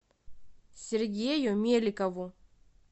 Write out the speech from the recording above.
сергею меликову